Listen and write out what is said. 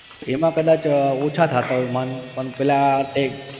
એમાં કદાચ ઓછા થતાં હોય માંડ પણ પેલા tag